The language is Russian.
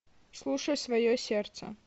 слушай свое сердце